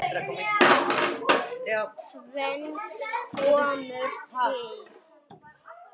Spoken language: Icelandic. Tvennt kemur til.